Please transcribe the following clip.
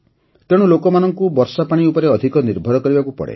ତେଣୁ ଲୋକମାନଙ୍କୁ ବର୍ଷାପାଣି ଉପରେ ଅଧିକ ନିର୍ଭର କରିବାକୁ ପଡ଼େ